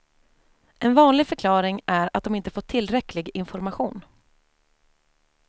En vanlig förklaring är att de inte fått tillräcklig information.